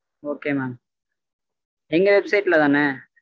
okay mam எங்க website ல தான?